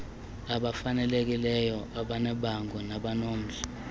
abafanelekileyo abanebango nabanomdla